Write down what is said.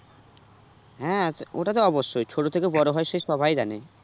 হ্যাঁ ওটা তো অবশ্যই ছোট থেকে বড় হয় সে সবাই জানে